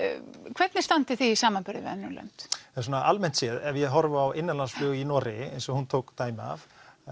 hvernig standið þið í samanburði við önnur lönd almennt séð ef ég horfi á innanlandsflug í Noregi eins og hún tók dæmi af